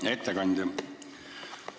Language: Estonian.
Hea ettekandja!